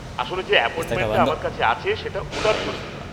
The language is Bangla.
আসলে যে অ্যাপয়েন্টমেন্টটা আমার আছে সেটা ওটার জন্যই।